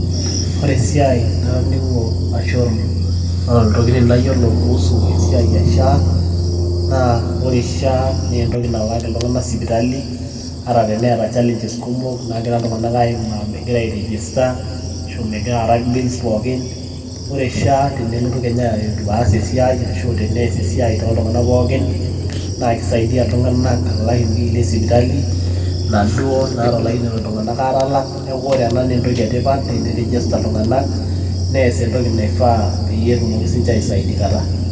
ore esiai natoning'o kuusu shaa. ore shaa naa entoki nalaaki iltung'anak sipitali, teneeta challenges kumok naagira ltunganak aimaa megira ai register ashu aa megira alak bills pookin. ore shaa tenelotu aas esiai tooltunganak, pookin, nelaaki iltung'anak bills. peyie etumoki sii ninche aisaidikata.